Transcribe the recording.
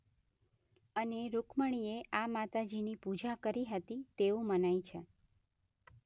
અને રૂક્મણિએ આ માતાજીની પૂજા કરી હતી તેવું મનાય છે.